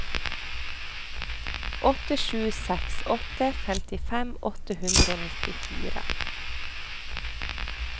åtte sju seks åtte femtifem åtte hundre og nittifire